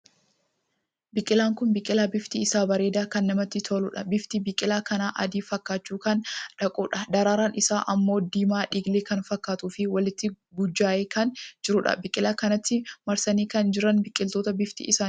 Biqilaan kun biqilaa bifti isaa bareedaa kan namatti toluudha. bifti biqilaa kanaa, adii fakkaachuu kan dhaquudha. daraaraan isaa ammoo diimaa dhiilgee kan fakkaatuu fi walitti guujjahee kan jiruudha. biqila kanatti marsanii kan jira biqiloota bifti isaanii Magariisa kan taheedha.